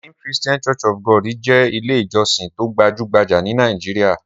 Redeemed Christian Church of God jẹ́ Ilé-ìjọsìn tó gbajú-gbajà ní Nàìjíríà.